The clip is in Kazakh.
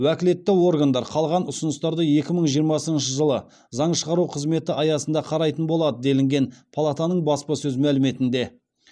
уәкілетті органдар қалған ұсыныстарды екі мың жиырмасыншы жылы заң шығару қызметі аясында қарайтын болады делінген палатаның баспасөз мәліметінде